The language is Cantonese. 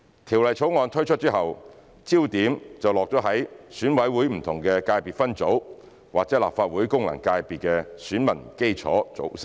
《條例草案》推出後，焦點便落到選委會不同界別分組或立法會功能界別的選民基礎組成。